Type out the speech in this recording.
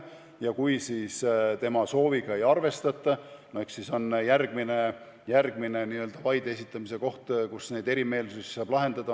Ja kui siis tema sooviga ei arvestata, eks siis järgmine vaide esitamise koht on kohus, kus siis neid erimeelsusi saab lahendada.